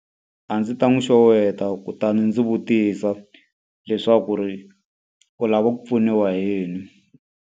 A ndzi ta n'wi xeweta kutani ndzi vutisa leswaku ri u lava ku pfuniwa hi yini.